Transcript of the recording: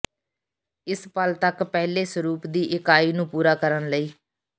ਇਸ ਪਲ ਤੱਕ ਪਹਿਲੇ ਸਰੂਪ ਦੀ ਇਕਾਈ ਨੂੰ ਪੂਰਾ ਕਰਨ ਲਈ